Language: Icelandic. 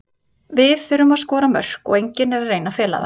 Við þurfum að skora mörk og enginn er að reyna að fela það.